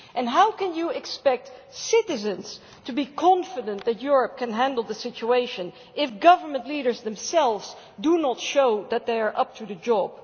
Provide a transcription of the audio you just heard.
How can you expect citizens to be confident that Europe can handle the situation if government leaders themselves do not show that they are up to the job?